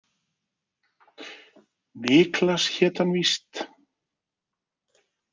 Niklas hét hann víst.